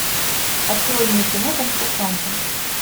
открой мне кино кунг фу панда